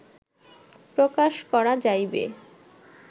প্রকাশ করা যাইবে